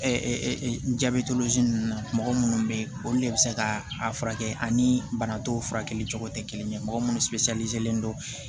n jabɛ ninnu na mɔgɔ minnu bɛ yen olu le bɛ se ka a furakɛ ani bana dɔw furakɛli cogo tɛ kelen ye mɔgɔ minnu len don